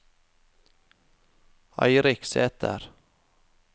Eirik Sæter